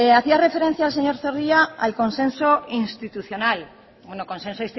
hacía referencia el señor zorrilla al consenso institucional bueno consenso